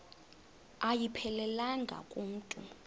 ayiphelelanga ku mntu